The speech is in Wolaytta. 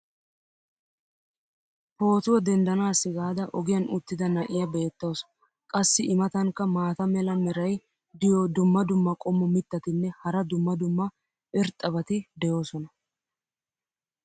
pootuwa denddanaassi gaada ogiyan uttida na'iyaa beetawusu. qassi i matankka maata mala meray diyo dumma dumma qommo mitattinne hara dumma dumma irxxabati de'oosona.